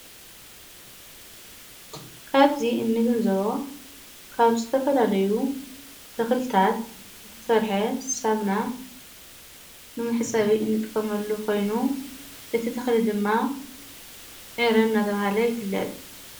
ካብዚእንግንዝቦ ካብ ዝተፈላለዩ ተኽልታት ተሠርሐ ሳምና ምምሕ ጸቢ እንጥመሉ ኾይኑ እቲ ተኽሊ ድማ ዕረ ናተብሃለ ይፍለጥ::